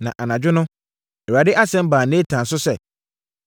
Na anadwo no, Awurade asɛm baa Natan so sɛ,